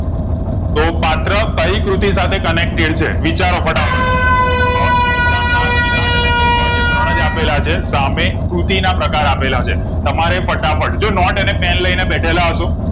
તો પાત્ર કયી કૃતિ સાથે connected છે વિચારો ફટાફટ અ વિશાખા વિરાજ અને સૌભાગ્ય ત્રણ જ આપેલા છે સામે કૃતિ ના પ્રકાર આપેલા છે તમારે ફટાફટ જો નોટે અને pen લાય ને બેઠેલા હસો